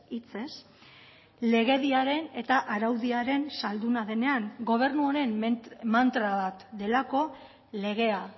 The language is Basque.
hitzez legediaren eta araudiaren zalduna denean gobernu honen mantra bat delako legea